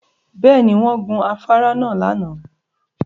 Bẹ́ẹ̀ ni, wọ́n gun afárá náà lánàá